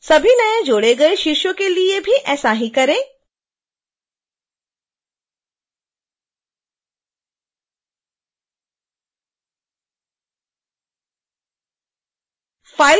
सभी नए जोड़े गए शीर्षों के लिए भी ऐसा ही करें